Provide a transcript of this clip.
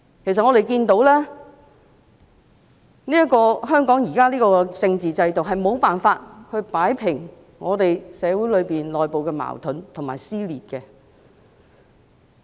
其實，我們看到香港現時的政治制度無法擺平社會內部的矛盾及撕裂。